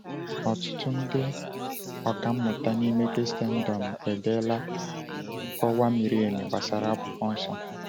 Ọtụtụ ndị ọkà mmụta n’ime Kraịstndọm edeela nkọwa miri emi gbasara Akwụkwọ Nsọ.